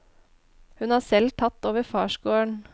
Hun har selv tatt over farsgården.